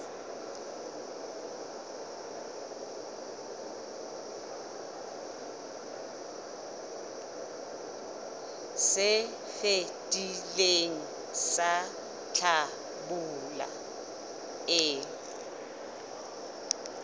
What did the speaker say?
se fetileng sa hlabula e